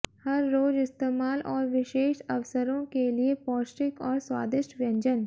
हर रोज इस्तेमाल और विशेष अवसरों के लिए पौष्टिक और स्वादिष्ट व्यंजन